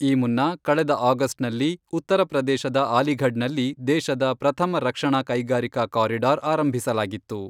ಈ ಮುನ್ನ ಕಳೆದ ಆಗಸ್ಟ್ನಲ್ಲಿ ಉತ್ತರ ಪ್ರದೇಶದ ಅಲಿಘಡ್ನಲ್ಲಿ ದೇಶದ ಪ್ರಥಮ ರಕ್ಷಣಾ ಕೈಗಾರಿಕಾ ಕಾರಿಡಾರ್ ಆರಂಭಿಸಲಾಗಿತ್ತು.